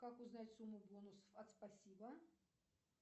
как узнать сумму бонусов от спасибо